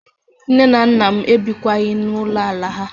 Nne na nna m ebikwaghị na Ulo ala ha